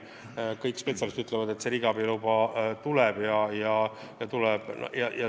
Kõik spetsialistid pigem ütlevad, et riigiabi luba tuleb.